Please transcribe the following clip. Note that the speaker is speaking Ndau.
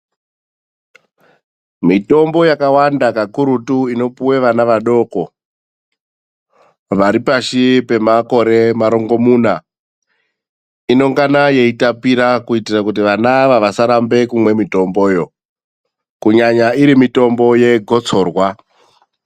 Mitombo yakawanda kakurutu inopuhwa vana vadoko varipashi pemakore marongomuna inongana yeitapira kuitira kuti vana ava vasaramba kumwa mitomboyo, kunyanya iri mitombo yegotsorwa.